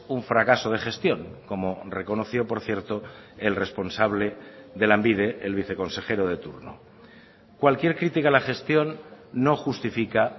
un fracaso de gestión como reconoció por cierto el responsable de lanbide el viceconsejero de turno cualquier crítica a la gestión no justifica